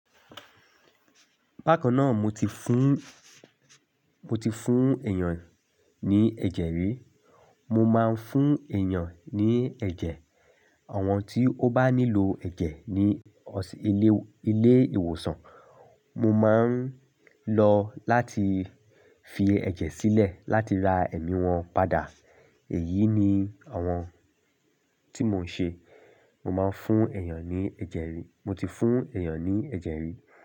Bákan náà mo ti fún, mo ti fún èèyàn ní ẹ̀jẹ̀ rí, mo máa ń fún èèyàn ní ẹ̀jẹ̀. Ọ̀wọ́n tí ó bá nílò ẹ̀jẹ̀ ní ilé, ilé ìwòsàn, mo máa ń lọ láti fi ẹ̀jẹ̀ sílẹ̀ láti ra ẹ̀mí wọn padà. Èyí ni àwọn tí mò ń ṣe. Mo máa ń fún èèyàn ní ẹ̀jẹ̀ rí. Mo ti fún èèyàn ní ẹ̀jẹ̀ rí.